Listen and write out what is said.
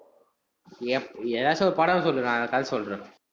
எப்~ எதாச்சும் ஒரு படம் சொல்லு, நான் கதை சொல்றேன்.